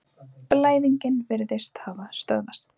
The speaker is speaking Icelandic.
Blæðingin virðist hafa stöðvast.